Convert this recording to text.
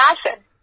না স্যার